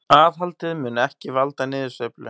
Aðhaldið mun ekki valda niðursveiflu